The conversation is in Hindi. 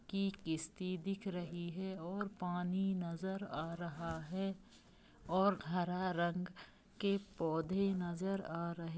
की कष्टि दिख रही है और अपनी नजर आ रहा है और हरा रंग के पौधे नजर आ रहे--